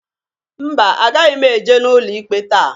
Mba! Agaghị m eje n'ụlọ ikpe taa.